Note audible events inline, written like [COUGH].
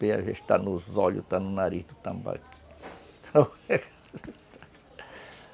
já está nos olhos, está no nariz do tambaqui [LAUGHS]